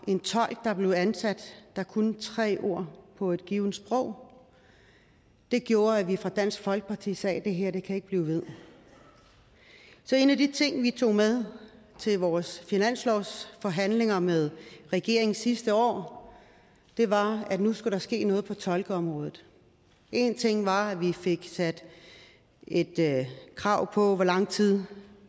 en tolk der blev ansat og som kunne tre ord på et givent sprog det gjorde at vi fra dansk folkeparti sagde det her kan ikke blive ved så en af de ting vi tog med til vores finanslovsforhandlinger med regeringen sidste år var at nu skulle der ske noget på toldområdet en ting var at vi fik sat et krav på hvor lang tid